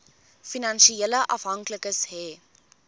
finansiële afhanklikes hê